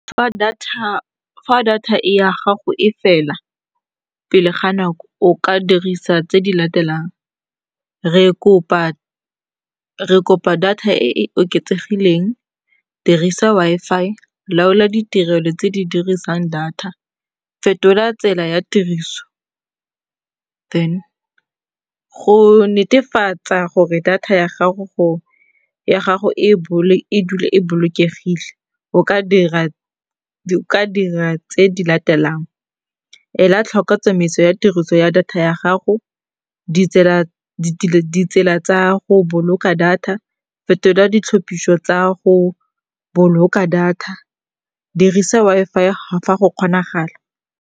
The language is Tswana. Fa data data e ya gago e fela pele ga nako, o ka dirisa tse di latelang. Re kopa data e e oketsegileng, dirisa Wi-Fi, laola ditirelo tse di dirisang data, fetola tsela ya tiriso. Go netefatsa gore data ya gago e dule e bolokegile, o ka dira tse di latelang. Ela tlhoko tsamaiso ya tiriso ya data ya gago, ditsela tsa go boloka data, fetola ditlhopiso tsa go boloka data, dirisa Wi-Fi fa go kgonagala.